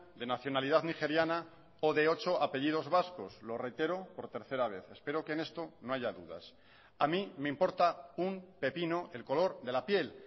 de nacionalidad nigeriana o de ocho apellidos vascos lo reitero por tercera vez espero que en esto no haya dudas a mí me importa un pepino el color de la piel